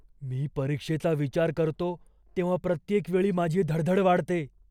मी परीक्षेचा विचार करतो तेव्हा प्रत्येक वेळी माझी धडधड वाढते.